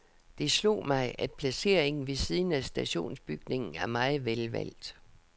Det slog mig, at placeringen ved siden af stationsbygningen er meget velvalgt.